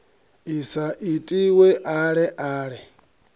i sa itiwe ale ale